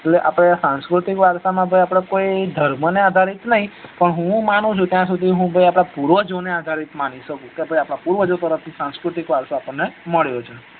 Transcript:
જો આપડે સાંસ્કૃતિક વારસા માં કે ભાઈ ધર્મને આધારિત નઈ પણ હુ માનું છુ ત્યાં સુધી હુ ભાઈ પૂર્વજો ને આધારિત માની સકું કે ભાઈ આપદા પૂર્વજો તર્ફ્થી સાંસ્કૃતિક વારસો આપણને મળ્યો છે